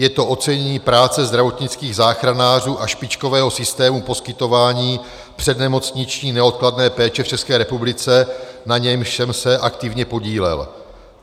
Je to ocenění práce zdravotnických záchranářů a špičkového systému poskytování přednemocniční neodkladné péče v České republice, na němž jsem se aktivně podílel.